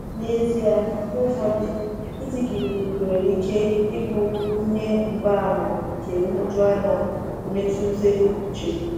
N’ezie, mgbe ụfọdụ ịdị gịrịgịrị nwere ike ịbụ ihe mgbaàmà nke nhụjuanya mmetụta uche.